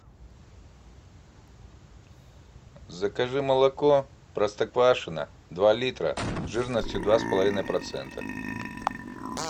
закажи молоко простоквашино два литра жирностью два с половиной процента